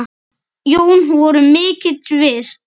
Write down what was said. Jón voru mikils virt.